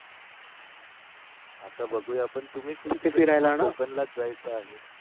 आता बघूया आपण तुम्ही फिरायला कोकण ला जायचं आहे.